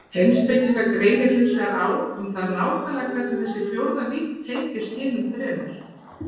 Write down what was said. Heimspekinga greinir hinsvegar á um það nákvæmlega hvernig þessi fjórða vídd tengist hinum þremur.